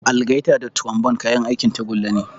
Algaita da trombone kayan aikin tagulla ne.